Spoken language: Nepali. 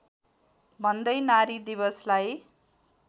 भन्दै नारी दिवसलाई